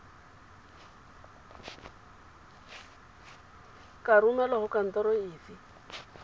ka romelwa go kantoro efe